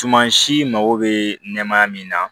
Suman si mago bɛ nɛmaya min na